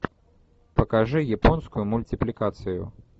покажи японскую мультипликацию